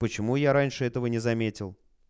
почему я раньше этого не заметил